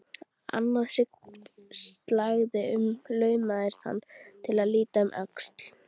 Annað slagið laumaðist hann til að líta um öxl.